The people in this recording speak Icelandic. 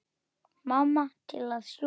Mamma til að sjúga.